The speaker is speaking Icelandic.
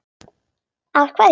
Af hverju.